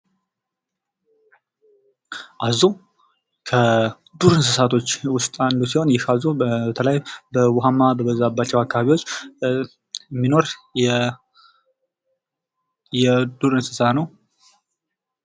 አዞ ከዱር እንስሳቶች ውስጥ አንዱ ሲሆን ይኽ አዞ በተለይ በውኃማ በበዛባቸው አካባቢዎች የሚኖር የዱር እንስሳ ነው።